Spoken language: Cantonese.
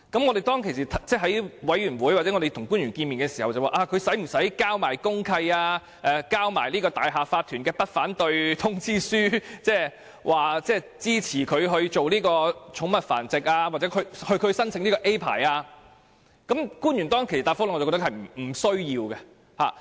我們在小組委員會會議上或與官員會面時曾提出，某人是否需要提交公契或大廈業主立案法團的不反對通知書，以示支持他進行寵物繁殖或申請甲類牌照，但官員當時的答覆是不需要。